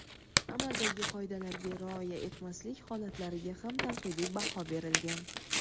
amaldagi qoidalarga rioya etmaslik holatlariga ham tanqidiy baho berilgan.